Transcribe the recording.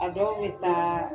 A dɔw bɛ taa